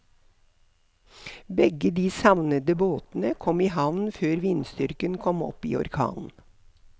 Begge de savnede båtene kom i havn før vindstyrken kom opp i orkan.